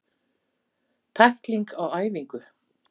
Tækling á æfingu.